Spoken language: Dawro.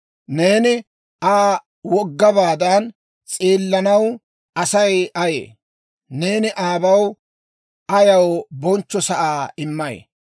«Neeni Aa woggabaadan s'eellanaw Asay ayee? Neeni aabaw ayaw bonchcho sa'aa immay?